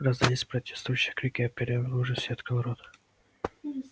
раздались протестующие крики а пиренн в ужасе открыл рот